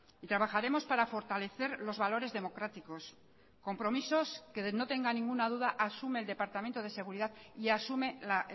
y trabajaremos para fortalecer los valores democráticos compromisos que no tenga ninguna duda asume el departamento de seguridad y asume la